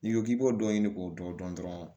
N'i ko k'i b'o dɔ de ɲini k'o dɔn dɔrɔn